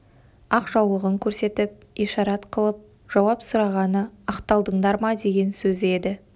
ақ жаулығын көрсетіп ишарат қылып жауап сұрағаны ақталдыңдар ма деген сөзі еді